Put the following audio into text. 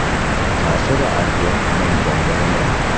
Sasha va Artyom nimjon bolalar.